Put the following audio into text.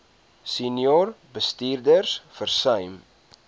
senior bestuurders versuim